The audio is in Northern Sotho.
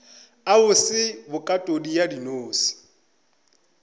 a bose bokatodi ya dinose